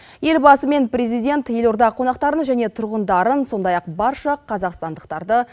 елбасы мен президент елорда қонақтарын және тұрғындарын сондай ақ барша қазақстандықтарды